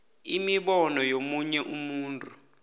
imibono yomunye umuntu